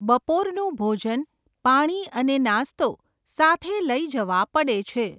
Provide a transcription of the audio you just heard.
બપોરનું ભોજન, પાણી, અને નાસ્તો સાથે લઈ જવા પડે છે.